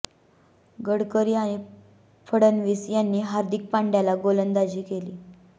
गडकरी आणि फडणवीस यांनी हार्दिक पांड्याला गोलंदाजी केली